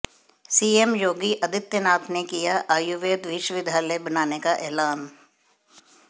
CM Yogi Adityanath ने किया आयुर्वेद विश्वविद्यालय बनाने का ऐलान